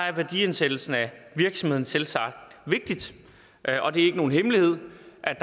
er værdiansættelsen af virksomheden selvsagt vigtig og det er ikke nogen hemmelighed